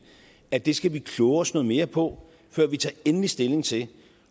at det skal vi kloge os noget mere på før vi tager endelig stilling til